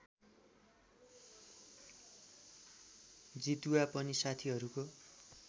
जितुवा पनि साथीहरूको